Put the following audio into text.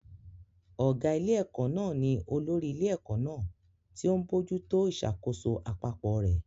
Ọ̀gá ilé-ẹ̀kọ́ náà ni olórí ilé-ẹ̀kọ́ náà, tí ó ń bójú tó ìṣàkóso àpapọ̀ rẹ̀.